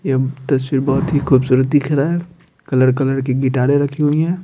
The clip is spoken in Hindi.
ये तस्वीर बहुत ही खूबसूरत दिख रहा है कलर कलर की गिटारें रखी हुई हैं।